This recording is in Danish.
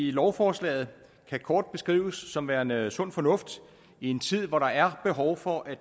i lovforslaget kan kort beskrives som værende sund fornuft i en tid hvor der er behov for at